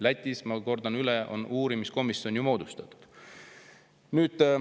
Lätis, ma kordan üle, on uurimiskomisjon moodustatud.